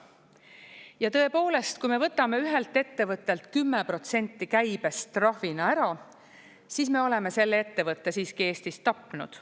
Ja tõepoolest, kui me võtame ühelt ettevõttelt 10% käibest trahvina ära, siis me oleme selle ettevõtte siiski Eestis tapnud.